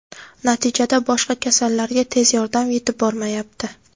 Natijada boshqa kasallarga tez yordam yetib bormayapti.